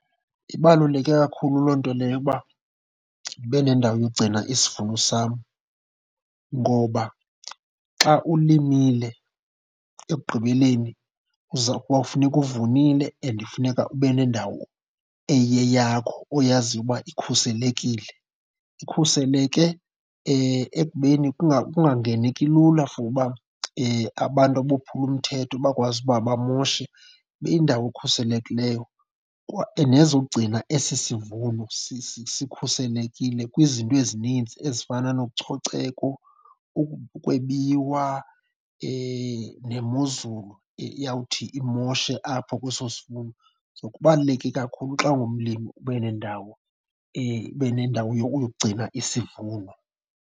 Ibaluleke kakhulu loo nto leyo uba ndibe nendawo yokugcina isivuno sam. Ngoba xa ulimile ekugqibeleni uza, kwawufuneka uvunile and funeka ube nendawo eyeyakho oyaziyo ukuba ikhuselekile. Ikhuseleke ekubeni kungangeneki lula for uba abantu abophula umthetho bakwazi uba bamoshe. Ibe yindawo ekhuselekileyo nezo gcina esi sivuno sikhuselekile kwizinto ezininzi ezifana nococeko, ukwebiwa nemozulu eyawuthi imoshe apho kweso sivuno. So kubaluleke kakhulu xa ungumlimi ube nendawo, ube nendawo yokugcina isivuno.